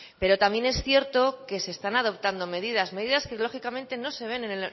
pero también es cierto que se están adoptando medidas medidas que lógicamente no se ven en